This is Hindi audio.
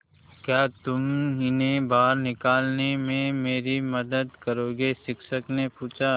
क्या तुम इन्हें बाहर निकालने में मेरी मदद करोगे शिक्षक ने पूछा